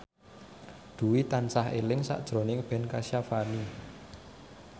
Dwi tansah eling sakjroning Ben Kasyafani